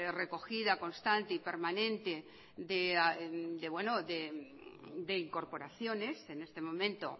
recogida constante y permanente de incorporaciones en este momento